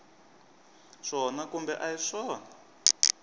swona kumbe a hi swona